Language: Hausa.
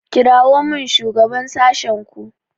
kirawo min shugaban sashenku.